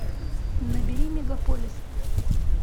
набери мегаполис